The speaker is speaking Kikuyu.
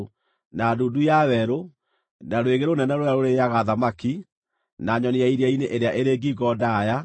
na ndundu ya werũ, na rwĩgĩ rũnene rũrĩa rũrĩĩaga thamaki, na nyoni ya iria-inĩ ĩrĩa ĩrĩ ngingo ndaaya,